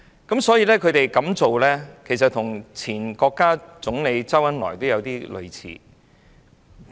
他們的做法其實與前國務院總理周恩來相類似。